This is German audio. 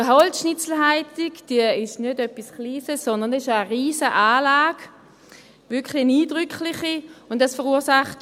Die Holzschnitzelheizung ist nicht etwas Kleines, sondern es ist eine riesige, wirklich eindrückliche Anlage.